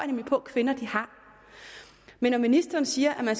nemlig på kvinder har men når ministeren siger at